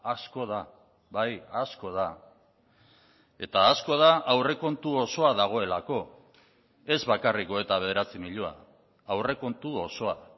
asko da bai asko da eta asko da aurrekontu osoa dagoelako ez bakarrik hogeita bederatzi milioi aurrekontu osoa